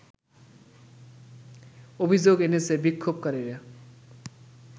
অভিযোগ এনেছে বিক্ষোভকারীরা